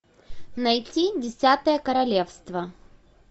найти десятое королевство